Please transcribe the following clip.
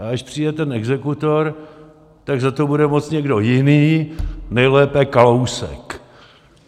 A až přijde ten exekutor, tak za to bude moct někdo jiný, nejlépe Kalousek.